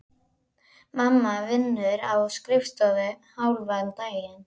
Mamma vinnur á skrifstofu hálfan daginn.